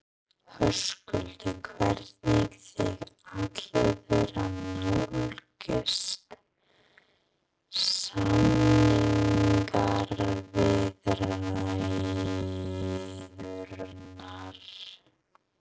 Höskuldur: Hvernig þið ætluðuð að nálgast samningaviðræðurnar?